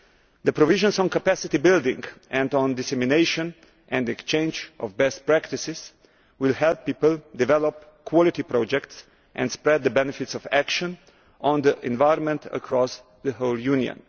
The provisions on capacity building and on dissemination and exchanges of best practice will help people develop quality projects and will spread the benefits of action on the environment across the whole Union.